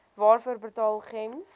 waarvoor betaal gems